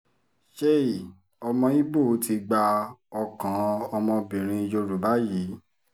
chei ọmọ ibo ti gba ọkàn ọmọbìnrin yorùbá yìí